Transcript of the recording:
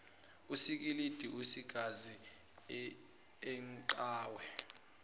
usikilidi usigazi inqawe